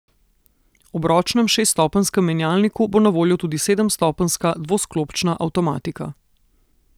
Ob ročnem šeststopenjskem menjalniku bo na voljo tudi sedemstopenjska dvosklopčna avtomatika.